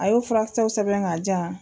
A y'o furakisɛw sɛbɛn ka jan